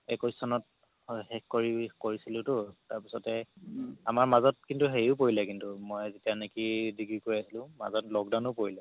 একৈশ চনত শেষ কৰিছিলোতো তাৰ পিছতে আমাৰ মাজত কিন্তু হেৰিও পৰিলে কিন্তু মই যেতিয়া নেকি degree কৰি আছিলো মাজত lockdown ও পৰিলে